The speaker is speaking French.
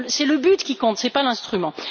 c'est le but qui compte, et non l'instrument.